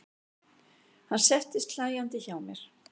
Hann settist hlæjandi hjá mér.